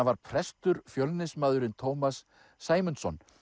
var prestur Tómas Sæmundsson